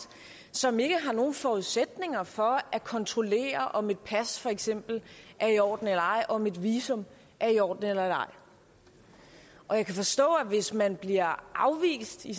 som ikke har nogen forudsætninger for at kontrollere om et pas for eksempel er i orden eller ej og om et visum er i orden eller ej og jeg kan forstå at hvis man bliver afvist i